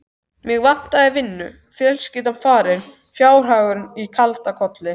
Mig vantaði vinnu, fjölskyldan farin, fjárhagur í kaldakoli.